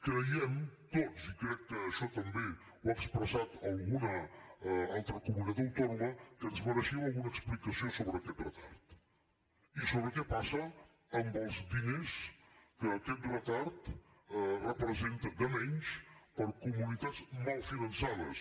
creiem tots i crec que això també ho ha expressat alguna altra comunitat autònoma que ens mereixíem alguna explicació sobre aquest retard i sobre què passa amb els diners que aquest retard representa de menys per a comunitats mal finançades